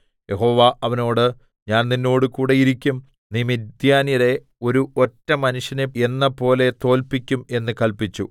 യഹോവ അവനോട് ഞാൻ നിന്നോടുകൂടെ ഇരിക്കും നീ മിദ്യാന്യരെ ഒരു ഒറ്റ മനുഷ്യനെ എന്നപോലെ തോല്പിക്കും എന്ന് കല്പിച്ചു